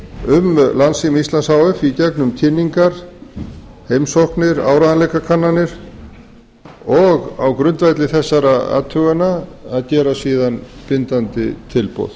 um landssíma íslands h f í gegnum kynningar heimsóknir áreiðanleikakannanir og á grundvelli þessara athugana að gera síðan bindandi tilboð